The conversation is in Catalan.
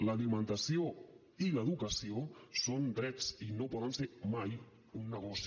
l’alimentació i l’educació són drets i no poden ser mai un negoci